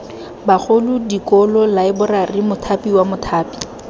bagolo dikolo laeborari mothapiwa mothapi